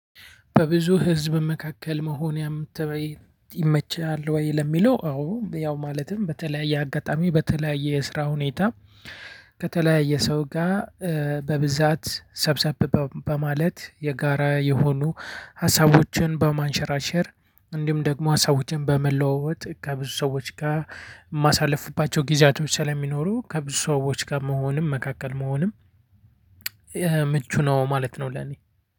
በብዙ ህዝብ መካከል መሆን ይመችሃል ወይ? ለሚለው አዎ ያው ማለትም በተለያየ አጋጣሚ በተለያየ የስራ ሁኔታ ከተለያየ ሰው ጋር በብዛት ሰብሰብ በማለት የጋራ የሆኑ ሀሳቦችን በማንሸራሸር እንዲሁም ደግሞ ሀሳቦችን በመለዋወጥ ከብዙ ሰዎች ጋር የማሳልፍባቸው ጊዜያቶች ስለሚኖሩ ከብዙ ሰዎች ጋር መሆንም መካከል መሆንም ምቹ ነው ማለት ነው። ለኔ